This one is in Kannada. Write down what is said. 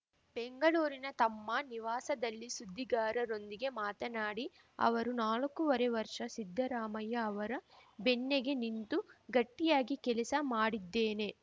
ಬೆಂಗಳೂರಿನ ತಮ್ಮ ನಿವಾಸದಲ್ಲಿ ಸುದ್ದಿಗಾರರೊಂದಿಗೆ ಮಾತನಾಡಿ ಅವರು ನಾಲ್ಕೂವರೆ ವರ್ಷ ಸಿದ್ದರಾಮಯ್ಯ ಅವರ ಬೆನ್ನಿಗೆ ನಿಂತು ಗಟ್ಟಿಯಾಗಿ ಕೆಲಸ ಮಾಡಿದ್ದೇನೆ